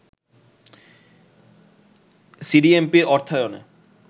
সিডিএমপির অর্থায়নে